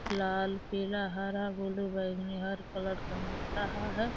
लाल पीला हरा ब्लू बैगनी हर कलर का मिल रहा है।